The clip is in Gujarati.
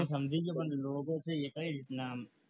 હું સમજી ગયો પણ લોકો છે કઈ રીતના આમ